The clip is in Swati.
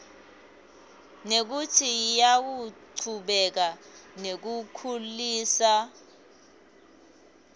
nekutsi tiyachubeka nekukhuliswa